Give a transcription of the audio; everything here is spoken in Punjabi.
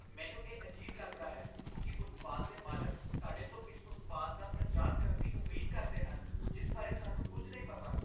ਮੈਨੂੰ ਇਹ ਅਜੀਬ ਲੱਗਦਾ ਹੈ ਕਿ ਉਤਪਾਦ ਦੇ ਮਾਲਕ ਸਾਡੇ ਤੋਂ ਇਸ ਉਤਪਾਦ ਦਾ ਪ੍ਰਚਾਰ ਕਰਨ ਦੀ ਉਮੀਦ ਕਰਦੇ ਹਨ ਜਿਸ ਬਾਰੇ ਸਾਨੂੰ ਕੁੱਝ ਨਹੀਂ ਪਤਾ।